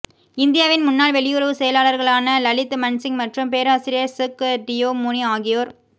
இந்தியாவின் முன்னாள் வெளியுறவு செயலாளர்களான லலித் மண்சிங் மற்றும் பேராசிரியர் சுக் டியோ முனி ஆகியோர்